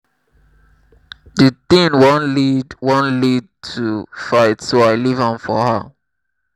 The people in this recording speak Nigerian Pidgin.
the thing wan lead thing wan lead to fight so i leave am for her